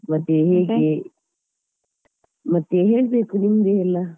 ಮತ್ತೆ ಹೇಗೆ ಮತ್ತೆ ಹೇಳ್ಬೇಕು ನಿಮ್ದೆ ಎಲ್ಲ.